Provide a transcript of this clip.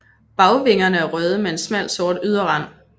Bagvingerne er røde med en smal sort yderrand